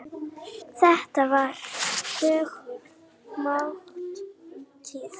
Þetta var þögul máltíð.